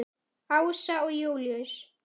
Ása og Júlíus.